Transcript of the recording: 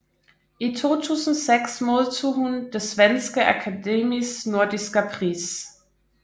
I 2006 modtog hun Det Svenske Akademis Nordiska Pris